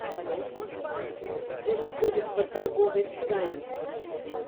где находится торговый дизайн